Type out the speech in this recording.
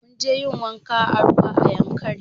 Munje yin wanka a ruwa a yankari